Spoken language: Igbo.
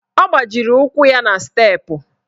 Ọ gbajiri ụkwụ na steepụ.